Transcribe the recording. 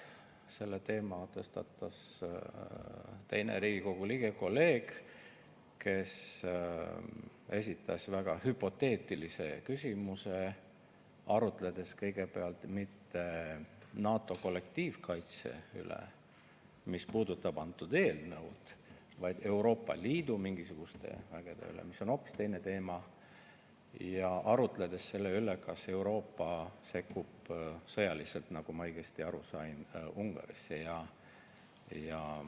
Selle teema tõstatas teine Riigikogu liige, kolleeg, kes esitas väga hüpoteetilise küsimuse, arutledes kõigepealt mitte NATO kollektiivkaitse üle, mis puudutab antud eelnõu, vaid Euroopa Liidu mingisuguste vägede üle, mis on hoopis teine teema, ja arutledes selle üle, kas Euroopa sekkub sõjaliselt, kui ma õigesti aru sain, Ungarisse.